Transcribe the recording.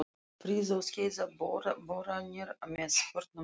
Flóa og Skeiða boranir með bornum Trölla.